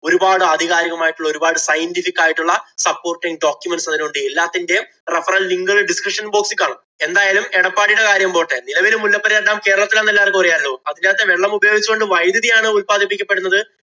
ഒരുപാട് ആധികാരികമായിട്ടുള്ള ഒരുപാട് scientific ആയിട്ടുള്ള supporting documents അതിലുണ്ട്. എല്ലാത്തിന്‍റേം referral link ഉകള്‍ description box ഇല്‍ കാണും. എന്തായാലും എടപ്പാടീടെ കാര്യം പോട്ടെ മുല്ലപ്പെരിയാര്‍ dam കേരളത്തിലാണെന്ന് എല്ലാര്‍ക്കും അറിയാലോ. അതിനകത്തെ വെള്ളമുപയോഗിച്ച്‌ കൊണ്ട് വൈദ്യതി ആണ് ഉത്പാദിപ്പിക്കപ്പെടുന്നത്